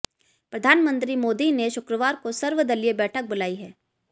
प्रधानमंत्री मोदी ने शुक्रवार को सर्वदलीय बैठक बुलाई है